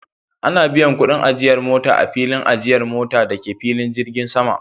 Ana biyan kudin ajiyar mota a filin ajiyar mota da ke filin jirgin sama